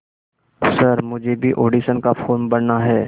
sir मुझे भी audition का फॉर्म भरना है